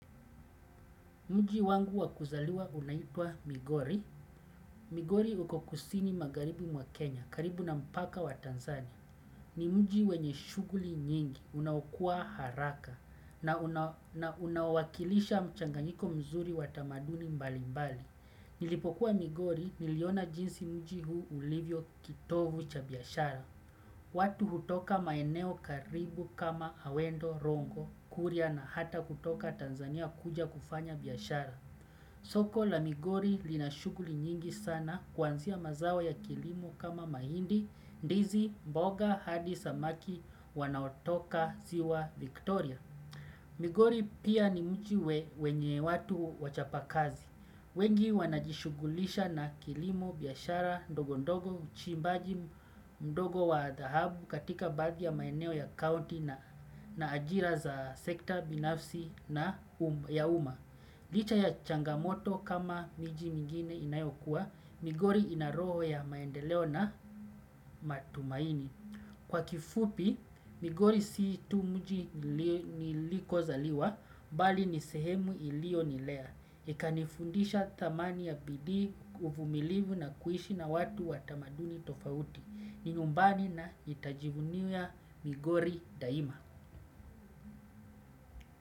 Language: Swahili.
Mji wangu wakuzaliwa unaitwa Migori. Migori uko kusini magharibi mwa Kenya, karibu na mpaka wa Tanzania. Ni mji wenye shughuli nyingi, unaokua haraka na unawaokilisha mchanganiko mzuri wa tamaduni mbali mbali. Nilipokuwa migori niliona jinsi mji huu ulivyo kitovu cha biashara. Watu hutoka maeneo karibu kama Awendo, Rongo, Kuria na hata kutoka Tanzania kuja kufanya biashara. Soko la migori linashughuli nyingi sana kuanzia mazao ya kilimo kama mahindi, ndizi, mboga, hadi samaki, wanaotoka ziwa Viktoria. Migori pia ni mji wenye watu wachapakazi. Wengi wanajishughulisha na kilimo, biashara ndogo ndogo, uchimbaji ndogo wa dhahabu katika baadhi ya maeneo ya kaunti na ajira za sekta binafsi na ya uma. Licha ya changamoto kama mji mengine inayokuwa, Migori ina roho ya maendeleo na matumaini. Kwa kifupi, Migori si tu mji nilikozaliwa, bali ni sehemu ilionilea, ikanifundisha thamani ya bidii uvumilivu na kuishi na watu wa tamaduni tofauti, ni nyumbani na nitajivunia migori daima.